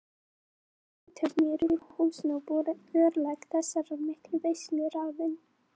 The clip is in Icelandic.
Samtökunum í Rauða húsinu og þar með voru örlög þessarar miklu veislu ráðin.